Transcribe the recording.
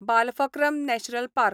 Balphakram national park